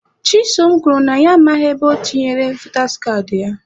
Chisom kwuru na ya amaghị ebe o tinyere votas kaadị ya.